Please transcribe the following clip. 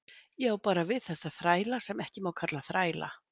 Ég á bara við þessa þræla sem ekki má kalla þræla.